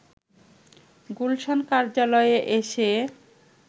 গুলশান কার্যালয়ে এসে